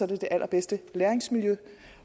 det det allerbedste læringsmiljø